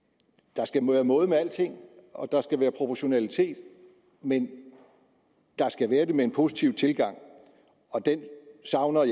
der skal være måde med alting og der skal være proportionalitet men der skal være det med en positiv tilgang og den savner